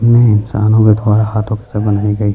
इन्है इंसानो के द्वारा हाथों से बनाई गई।